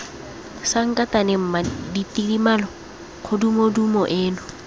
sankatane mma tidimalo kgodumodumo eno